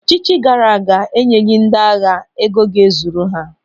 Ọchịchị gaara aga enyeghị ndị agha ego ga ezuru ha.